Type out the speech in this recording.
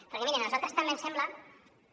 perquè mirin a nosaltres també ens sembla que